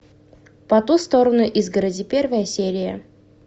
по ту сторону изгороди первая серия